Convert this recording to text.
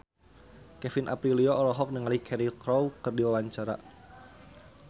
Kevin Aprilio olohok ningali Cheryl Crow keur diwawancara